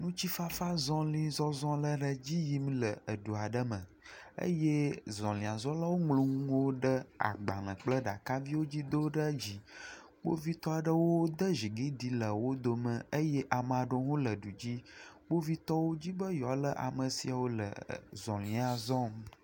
Amewo le ekɔ da ɖe nugɔmemasemase ta eye kpovitɔwo tsɔ woƒe akpoxɔnuwo va le amewo tutu yi megbe bena wome awɔ enugbegble aɖeke na ame aɖeke le edua me o.